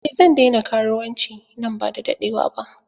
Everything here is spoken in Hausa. Eh zan daina karuwanci nan ba da daɗewa ba.